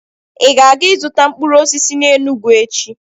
Ị ga-aga ịzụta mkpụrụ osisi n'Enugwu echi